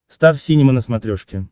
стар синема на смотрешке